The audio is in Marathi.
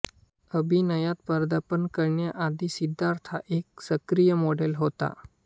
अभिनयात पदार्पण करण्याआधी सिद्धार्थ हा एक सक्रिय मॉडल होता